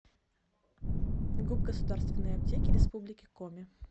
гуп государственные аптеки республики коми